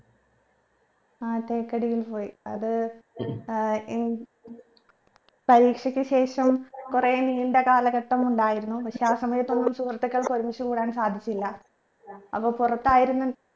ആ തേക്കടിയിൽ പോയി അത് ഏർ എൻ പരീക്ഷക്ക് ശേഷം കുറെ നീണ്ട കാലഘട്ടം ഉണ്ടായിരുന്നു പക്ഷെ ആ സമയത്തൊന്നും സുഹൃത്തുക്കൾക്ക് ഒരുമിച്ച് കൂടാൻ സാധിച്ചില്ല അപ്പൊ പുറത്തായിരുന്ന